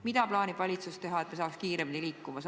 Mida plaanib valitsus teha, et me saaks kiiremini liikuda?